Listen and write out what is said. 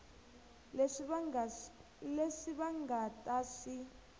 leswi va nga ta swi